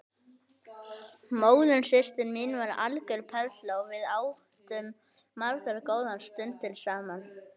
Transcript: Móðursystir mín var algjör perla og við áttum margar góðar stundir saman.